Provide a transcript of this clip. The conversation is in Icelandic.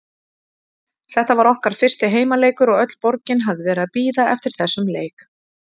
Þetta var okkar fyrsti heimaleikur og öll borgin hafði verið að bíða eftir þessum leik.